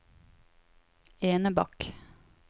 Enebakk